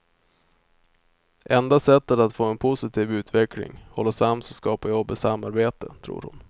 Enda sättet att få en positiv utveckling, hålla sams och skapa jobb är samarbete, tror hon.